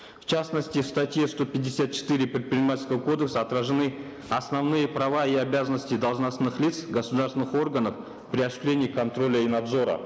в частности в статье сто пятьдесят четыре предпринимательского кодекса отражены основные права и обязанности должностных лиц государственных органов при осуществлении контроля и надзора